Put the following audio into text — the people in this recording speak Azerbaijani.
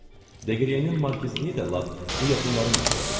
Deqriyenin markizliyi də lap bu yaxınların məsələsidir.